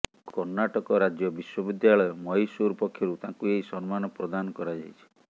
କର୍ଣ୍ଣାଟକ ରାଜ୍ୟ ବିଶ୍ୱବିଦ୍ୟାଳୟ ମହିଶୂର ପକ୍ଷରୁ ତାଙ୍କୁ ଏହି ସମ୍ମାନ ପ୍ରଦାନ କରାଯାଇଛି